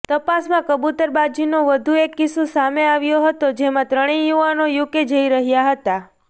તપાસમાં કબુતરબાજીનો વધુ એક કિસ્સો સામે આવ્યો હતો જેમાં ત્રણેય યુવાનો યુકે જઈ રહ્યા હતા